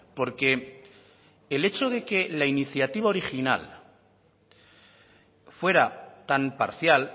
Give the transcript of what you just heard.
porque el hecho de que la iniciativa original fuera tan parcial